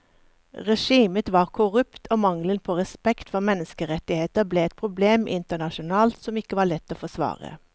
Regimet var korrupt og mangelen på respekt for menneskerettigheter ble et problem internasjonalt som ikke var lett å forsvare.